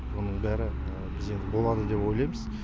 оның бәрі біз енді болады деп ойлаймыз